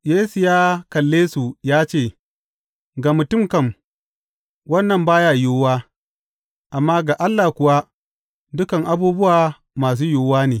Yesu ya kalle su ya ce, Ga mutum kam, wannan ba ya yiwuwa, amma ga Allah kuwa, dukan abubuwa masu yiwuwa ne.